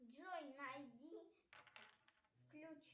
джой найди включи